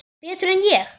Betur en ég?